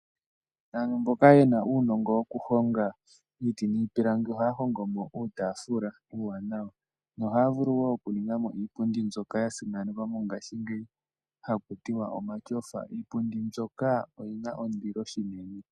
Aantu mboka ye na uunongo wokuhonga iiti niipilangi ohaya hongo mo uutafula iiwanawa. Ohaya vulu wo okuninga mo iipundi mbyoka ya simanekwa mongashingeyi ha kutiwa omatyofa, iipundi mbyoka oyi na ondilo shinene.